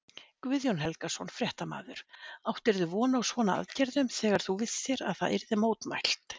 Guðjón Helgason, fréttamaður: Áttirðu von á svona aðgerðum þegar þú vissir að það yrði mótmælt?